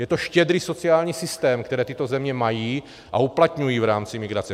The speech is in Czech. Je to štědrý sociální systém, který tyto země mají a uplatňují v rámci migrace.